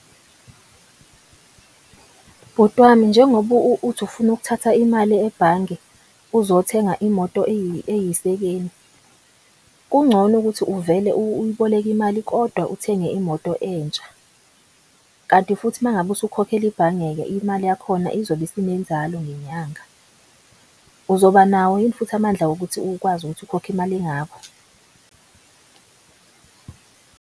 Bhuti wami njengoba uthi ufuna ukuthatha imali ebhange, uzothenga imoto eyisekeni. Kungcono ukuthi uvele uyiboleke imali kodwa uthenge imoto entsha. Kanti futhi uma ngabe usukhokhela ibhange-ke imali yakhona izobe isinenzalo ngenyanga. Uzoba nawo yini futhi amandla wokuthi ukwazi ukuthi ukhokhe imali engako.